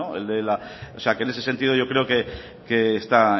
o sea que en ese sentido yo creo que está